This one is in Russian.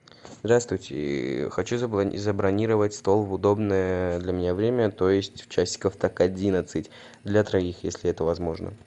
здравствуйте хочу забронировать стол в удобное для меня время то есть часиков так одиннадцать для троих если это возможно